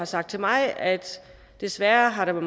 sagt til mig at desværre har